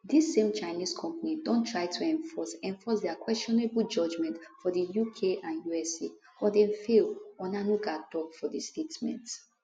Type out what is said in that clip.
dis same chinese company don try to enforce enforce dia questionable judgment for di uk and usa but dem fail onanuga tok for di statement